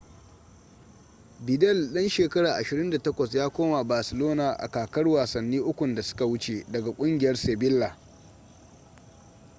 vidal dan shekara 28 ya koma barcelona a kakar wasanni ukun da suka wuce daga kungiyar sevilla